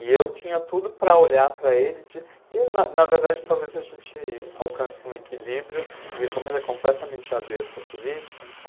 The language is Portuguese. E eu tinha tudo para olhar para ele e ti e eu, na na verdade, talvez a gente alcance um equilíbrio, porque como ele é completamente avesso à política, então...